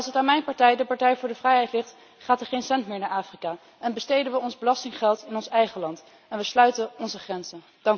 En als het aan mijn partij, de Partij voor de Vrijheid, ligt, gaat er geen cent meer naar Afrika en besteden we ons belastinggeld in ons eigen land en sluiten we onze grenzen.